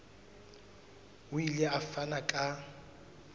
o ile a fana ka